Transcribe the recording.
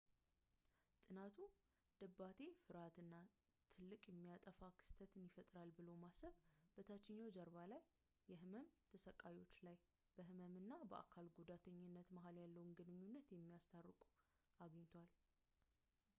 ጥናቱ ድባቴ ፍርሃት እና ትልቅ የሚያጠፋ ክስተት ይፈጠራል ብሎ ማሰብ በታችኛው ጀርባ የህመም ተሰቃዮች ላይ በህመም እና በአካል ጉዳተኝነት መሀል ያለውን ግንኙነት እንደሚያስታርቁ አግኝቷል